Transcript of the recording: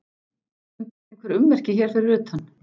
Fundust einhver ummerki hér fyrir utan?